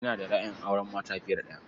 Ina da ra'ayin auren mata fiye da ɗaya.